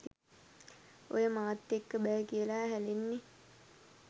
ඔය මාත් එක්ක බෑ කියලා හැලෙන්නේ